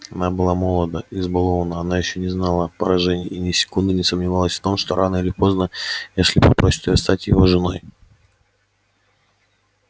она была молода избалованна она ещё не знала поражений и ни секунды не сомневалась в том что рано или поздно эшли попросит её стать его женой